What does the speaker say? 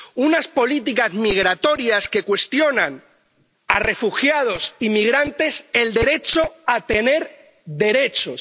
Unas políticas migratorias que cuestionan a refugiados y migrantes el derecho a tener derechos